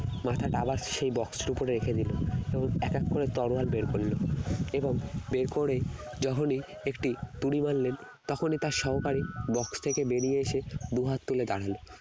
মাথাটা box এর উপরে রেখে দিল তো এক এক করে তরোয়াল বের করলো এবং বের করে যখনই একটি তুড়ি মারলেন তখনই তার সহকারী box থেকে বেরিয়ে এসে দুহাত তুলে দাঁড়ালেন